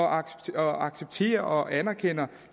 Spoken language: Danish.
accepterer og anerkender